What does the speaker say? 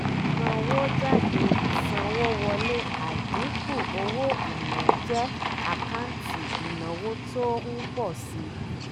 ìsanwójáde ìsanwówọlé àdínkù owó-ìnà jẹ́ àkáǹtì ìnáwó tó ń pọ̀ si.